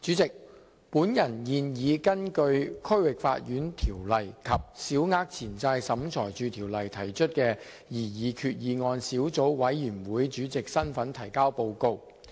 代理主席，我現以根據《區域法院條例》及《小額錢債審裁處條例》提出的擬議決議案小組委員會主席的身份提交報告。